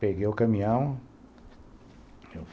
Peguei o caminhão.